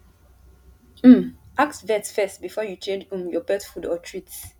um ask vet first before you change um your pet food or treats